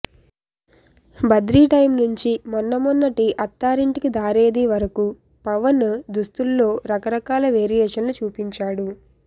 Badri time నుంచీ మొన్న మొన్నటి అత్థారింటికి దారేది వరకూ పవన్ దుస్తుల్లో రకరకాల వేరియేషన్లు చూపించాడు